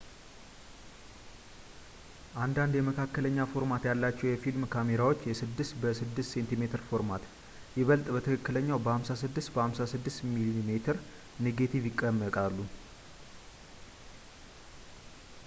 አንዳንድ የመካከለኛ ፎርማት ያላቸው የፊልም ካሜራዎች የ 6 በ6ሴሜ ፎርማት ይበልጥ በትክክለኛው የ56 በ 56 ሚሜ ኔጋቲቭ ይጠቀማሉ